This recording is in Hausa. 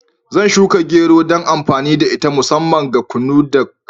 Zan shuka gero dan amfani da ita musamman ga kunu da kamu.